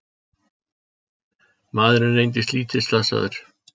Maðurinn reyndist lítið slasaður